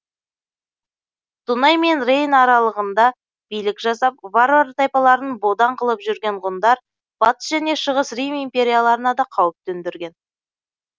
дунай мен рейн аралығында билік жасап варвар тайпаларын бодан қылып жүрген ғұндар батыс және шығыс рим империяларына да қауіп төндірген